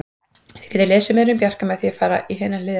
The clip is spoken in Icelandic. Þið getið lesið meira um Bjarka með því að fara í hina hliðina.